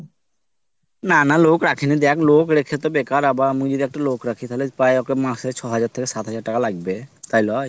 না না লোক রাখিনি দেখ লোক রেখে তো বেকার আবার আমি যদি একটা লোক রাখি তাহলে মাসে পাঁচ হাজার থেকে ছয় হাজার টাকা লাগবে মাসে তাইলে হয়।